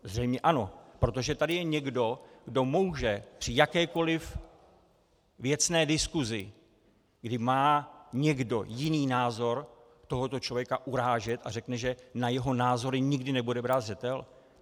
Zřejmě ano, protože tady je někdo, kdo může při jakékoli věcné diskusi, kdy má někdo jiný názor, tohoto člověk urážet, a řekne, že na jeho názory nikdy nebude brát zřetel.